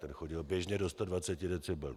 Ten chodil běžně do 120 decibelů.